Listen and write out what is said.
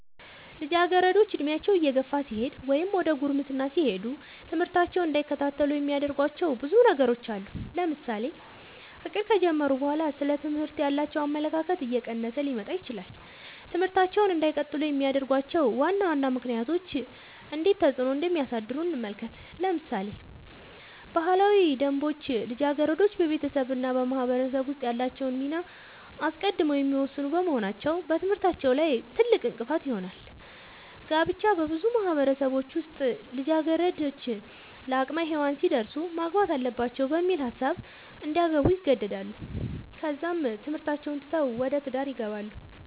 ልጃገረዶች ዕድሜያቸው እየገፋ ሲሄድ ወይም ዘደ ጉርምስና ሲሄዱ ትምህርታቸውን እንዳይከታተሉ የሚያደርጉዋቸው ብዙ ነገሮች አሉ ለምሳሌ ፍቅር ከጀመሩ በኋላ ስለ ትምህርት ያላቸው አመለካከት እየቀነሰ ሊመጣ ይችላል ትምህርታቸውን እንዳይቀጥሉ የሚያደርጉዋቸው ዋና ዋና ምክንያቶች እንዴት ተፅዕኖ እንደሚያሳድሩ እንመልከት ለምሳሌ ባህላዊ ደንቦች ልጃገረዶች በቤተሰብ እና በማህበረሰብ ውስጥ ያላቸውን ሚና አስቀድመው የሚወስኑ በመሆናቸው በትምህርታቸው ላይ ትልቅእንቅፋት ይሆናል። ጋብቻ- በብዙ ማህበረሰቦች ውስጥ ልጃገረዶች ለአቅመ ሄዋን ሲደርሱ ማግባት አለባቸው በሚል ሀሳብ እንዲያገቡ ይገደዳሉ ከዛም ትምህርታቸውን ትተው ወደ ትዳር ይገባሉ።